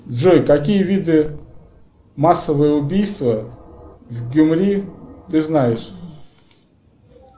джой какие виды массовые убийства в гюмри ты знаешь